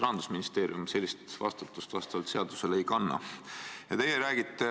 Rahandusministeerium sellist vastutust vastavalt seadusele ei kanna.